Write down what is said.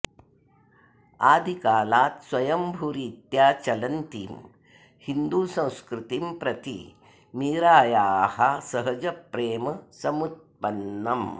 आदिकालात् स्वयम्भूरीत्या चलन्तीं हिन्दुसंस्कृतिं प्रति मीरायाः सहजप्रेम समुत्पन्नम्